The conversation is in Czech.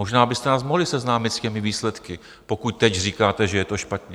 Možná byste nás mohli seznámit s těmi výsledky, pokud teď říkáte, že je to špatně.